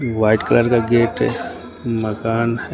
White colour का gate है मकान है।